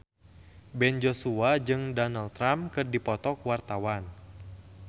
Ben Joshua jeung Donald Trump keur dipoto ku wartawan